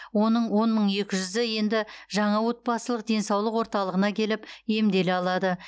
оның он мың екі жүзі енді жаңа отбасылық денсаулық орталығына келіп емделе алады